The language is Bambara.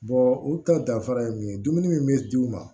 u ka danfara ye mun ye dumuni min bɛ d'u ma